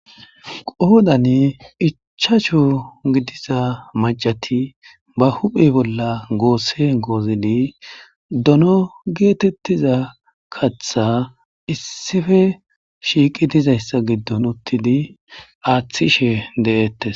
qoodani icchachu gidiza macati ba huphe bolla goosse goozili dono geetettiza katha issife shiiqi dizayssa giddon uttidi aaththishe de7ettes